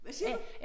Hvad siger du?